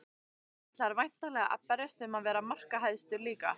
Þú ætlar væntanlega að berjast um að vera markahæstur líka?